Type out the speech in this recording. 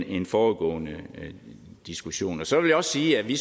en foregående diskussion så vil jeg sige at vi